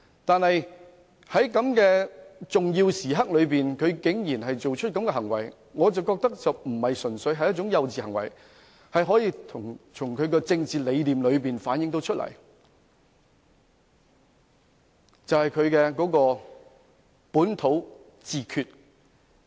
然而，在如此重要的時刻，他竟然作出這種行為，我認為並非純屬幼稚行為，而是從他的政治理念可以反映出來，即他倡議的本土自決。